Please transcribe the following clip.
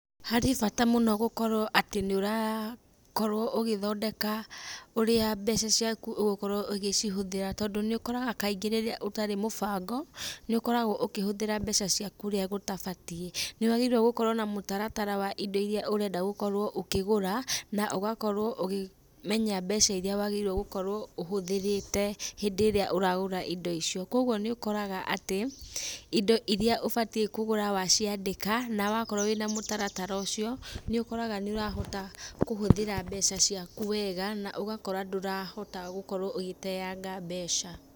Harĩ bata mũno gũkorwo atĩ nĩũrakorwo ũgĩthondeka ũrĩa mbeca ciaku ũgĩkorwo ũgĩcihũthĩra tondũ nĩũkoraga kaingĩ rĩrĩa ũtarĩ mũbango, nĩũkoragwo ũkĩhũthĩra mbeca ciaku ũrĩa gũtabatiĩ. Nĩwagĩrĩirwo gũkorwo na mũtaratara wa indo iria ũrenda gũkorwo ũkĩgũra, na ũgakorwo ũgĩ menya mbeca iria wagĩrĩirwo gũkorwo ũhũthĩrĩte hindĩ ĩrĩa ũragũra indo icio, koguo nĩũkoraga atĩ, indo iria ũbatiĩ kũgũra waciandĩka, nawakorwo wĩna mũtaratara ũcio, nĩũkoraga nĩũrahota kũhũthĩra mbeca cikau wega, na ũgakora ndũrahota gũkorwo ũgĩteanga mbeca.